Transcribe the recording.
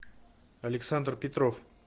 александр петров